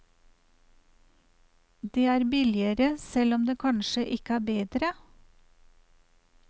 Det er billigere selv om det kansje ikke er bedre.